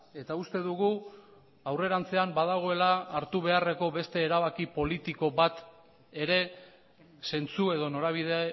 eta uste dugu aurrerantzean badagoela hartu beharreko beste erabaki politiko bat ere zentzu edo norabide